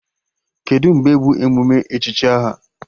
Kedụ mgbe bụ emume echichi aha?